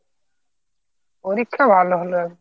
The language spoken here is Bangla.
পরীক্ষা ভালো হলো